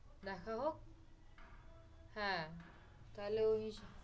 দেখা হোক, হ্যাঁ। তাহলে ঐ